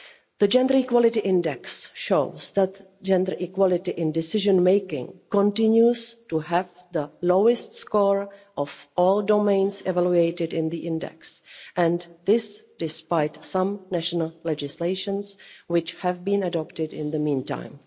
The Gender Equality Index shows that gender equality in decision-making continues to have the lowest score of all domains evaluated in the index, and this despite some national legislation which have been adopted in the meantime.